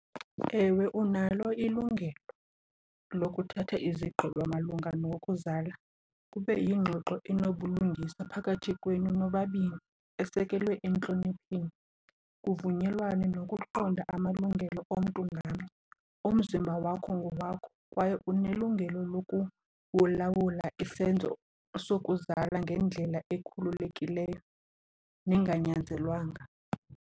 Ewe, unalo ilungelo lokuthatha izigqibo malunga nokuzala. Kube yingxoxo enobulungisa phakathi kwenu nobabini esekelwe entlonipheni, kuvunyelwane, nokuqonda amalungelo omntu ngamnye. Umzimba wakho ngowakho kwaye unelungelo lokuwulawula isenzo sokuzala ngendlela ekhululekileyo nenganyanzelwanga.